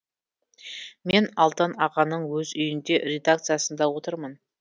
мен алдан ағаның өз үйінде редакциясында отырмын